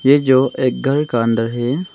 ये जो एक घर का अंदर है।